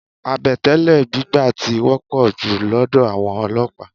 Àbẹ̀tẹ́lẹ̀ gbígbà tí wọ́pọ̀ jù lọ́dọ̀ àwọn olọ́pàá.